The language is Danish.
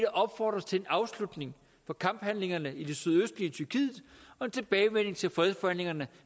opfordres til en afslutning på kamphandlingerne i det sydøstlige tyrkiet og en tilbagevenden til fredsforhandlingerne